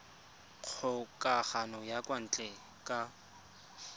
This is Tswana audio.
kgokagano ya kwa ntle ka